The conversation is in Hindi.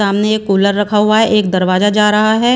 सामने एक कुलर रखा हुआ है एक दरवाजा जा रहा है।